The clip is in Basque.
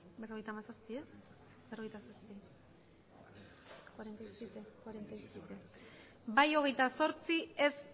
bai hogeita zortzi ez